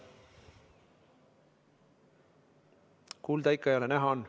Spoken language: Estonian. Kuulda ikka ei ole, näha on.